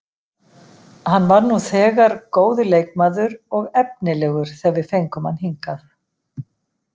Hann var nú þegar góður leikmaður og efnilegur þegar við fengum hann hingað.